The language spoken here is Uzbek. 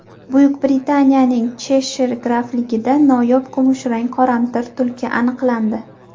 Buyuk Britaniyaning Cheshir grafligida noyob kumushrang qoramtir tulki aniqlandi.